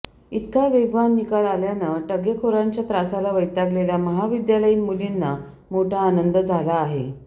इतका वेगवान निकाल आल्यानं टगेखोरांच्या त्रासाला वैतागलेल्या महाविद्यालयीन मुलींना मोठा आनंद झाला आहे